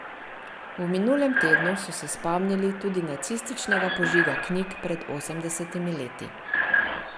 V minulem tednu so se spomnili tudi nacističnega požiga knjig pred osemdesetimi leti.